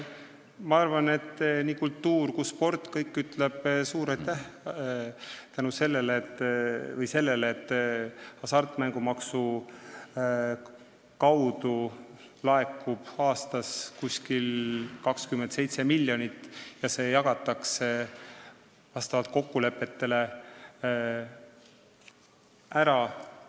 Ma arvan, et nii kultuur kui ka sport ütlevad suur aitäh selle eest, et Hasartmängumaksu Nõukogu kaudu laekub aastas umbes 27 miljonit ja see jagatakse vastavalt kokkulepetele ära.